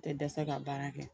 Tɛ dɛsɛ ka baara kɛ